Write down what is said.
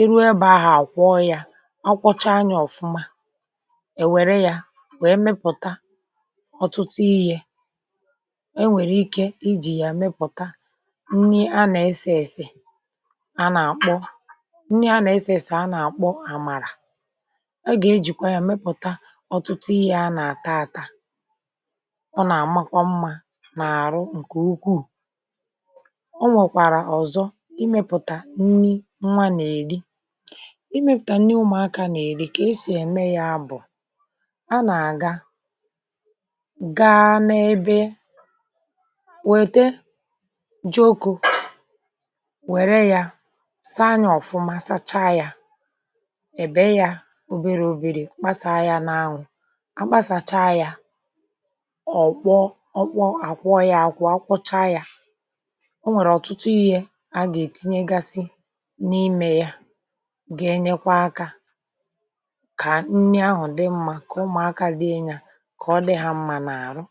iru ebė ahụ̀, àkwọ ya, ọ kwọcha anyȧ, ọ̀fụma, è wère ya wèe mepụ̀ta ọ̀tụtụ ihe. Enwèrè ike ijì ya mepụ̀ta nni a nà-esė èsè, a nà-akpọ nni a nà-esė èsè, a nà-àkpọ àmàrà, a gà-ejìkwa ya mepụ̀ta ọ̀tụtụ ihe a nà-ata ata ạta. Ọ nà-àmakwa mmȧ nà-àrụ ǹkè ukwuù: ịmẹ̀pụ̀tà nni nwa nà-èri, ịmẹ̀pụ̀tà nni ụmụ̀akȧ nà-èri, kà esì ème ya bụ̀ a nà-àga, gaȧ n’ebe, wète jị oku̇, wère ya saa ya, ọ̀fụma, sacha ya, ị̀be ya, oberė oberė, kpasàa ya n’anwụ̇, a kpasàcha ya, ọ̀ kpọọ, àkwọ ya àkwọ, a kwụcha ya, a gà-ètinyegasị n’imė yȧ, gà-enyekwa aka kà nni ahụ̀ dị mmȧ, kà ụmụ̀aka dị inyȧ, kà ọ dị ha mmȧ n’àrụ.